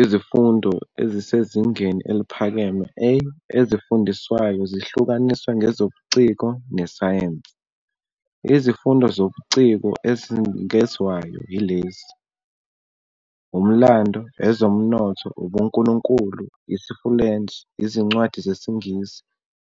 Ezifundweni ezisezingeni eliphakeme, "A", ezifundiswayo zihlukaniswe ngeZobuciko neSayensi. Izifundo zobuciko ezinikezwayo yilezi, Umlando, Ezomnotho, UbuNkulunkulu, IsiFulentshi, Izincwadi ZesiNgisi,